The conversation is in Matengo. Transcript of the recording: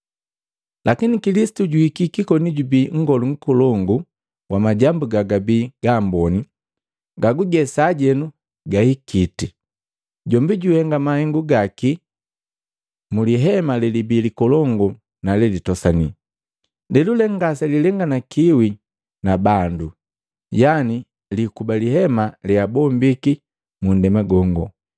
Lakini Kilisitu juhikiki, koni jubii Nngolu Nkolongu wa majambu gagabii gamboni, gaguge sajenu gahikiti. Jombi juhenga mahengu gaki mu lihema lelibii likolongu na lelitosani, lelule ngaselilenganikiwi na bandu, yani liikuba lihema leabombiki mu nndema gongo.